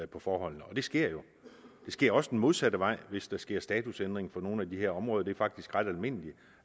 på forholdene og det sker jo det sker også den modsatte vej hvis der sker statusændring for nogle af de her områder det er faktisk ret almindeligt